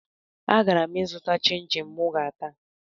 Agara m ịzụta chịn chịn mụ ga-ata